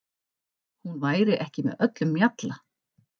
Hún væri ekki með öllum mjalla.